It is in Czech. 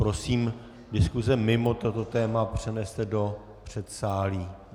Prosím diskuse mimo toto téma přeneste do předsálí.